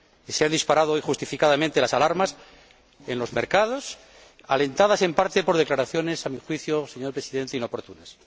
Se han disparado injustificadamente las alarmas en los mercados, alentadas en parte por declaraciones, a mi juicio, señor Presidente, inoportunas.